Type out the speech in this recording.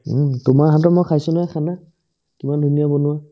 উম্, তোমাৰ হাতৰ মই খাইছো নহয় খানা কিমান ধুনীয়া বনোৱা